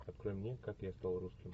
открой мне как я стал русским